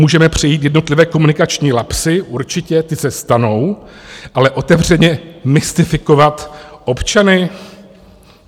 Můžeme přejít jednotlivé komunikační lapsy, určitě, ty se stanou, ale otevřeně mystifikovat občany?